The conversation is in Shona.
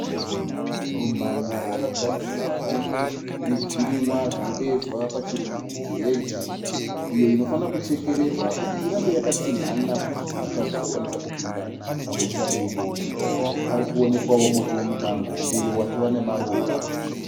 Rumhanya rwakagadzirwa nezvirimwa zvinodeedzwa pachirungu kuheji iyo inofana kuchekererwa kuti irambe yakatsinhana kuti zvipuka zvisakwanisa kupinda pamusha uyu. Parikuonekwawo muti wemumango uyo watova nemaruva.